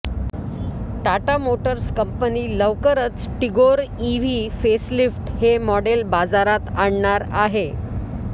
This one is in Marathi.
टाटा मोटर्स कंपनी लवकरच टिगोर ईव्ही फेसलिफ्ट हे मॉडेल बाजारात आणणार आहे